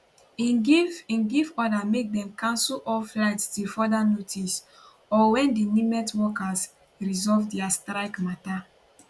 im give im give order make dem cancel all flights till further notice or wen di nimet workers resolve dia strike mata